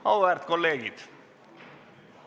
Auväärt kolleegid!